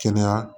Kɛnɛya